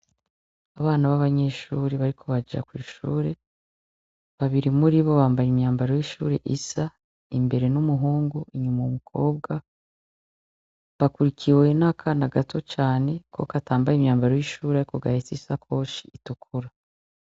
Abana b'abanyeshure bariko baja kw'ishure babiri muri bo bambaye imyambaro y'ishure isa , imbere n'umuhungu inyuma umukobwa bakurikiwe n'akana gato cane ko katambaye imyambaro y'ishure ariko gahetse isakoshi itukura.